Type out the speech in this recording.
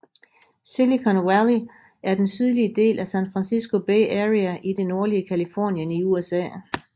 Silicon Valley er den sydlige del af San Francisco Bay Area i det nordlige Californien i USA